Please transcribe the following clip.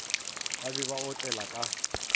ba be ba otsela ka